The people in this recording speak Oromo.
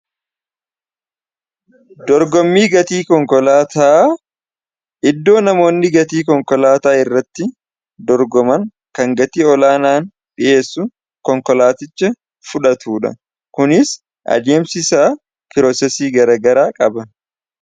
dorgommii konkolaataa iddoo namoonni gatii konkolaataa irratti dorgoman kan gatii olaanaan dhiheessu konkolaaticha fudhatudha. kunis adeemsi isaa pirosesii garagaraa qaba.